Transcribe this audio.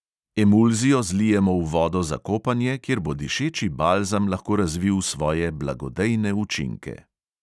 Emulzijo zlijemo v vodo za kopanje, kjer bo dišeči balzam lahko razvil svoje blagodejne učinke.